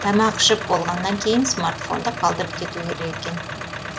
тамақ ішіп болғаннан кейін смартфонды қалдырып кету керек екен